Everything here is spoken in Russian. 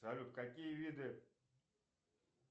салют какие виды